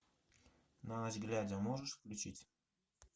на ночь глядя можешь включить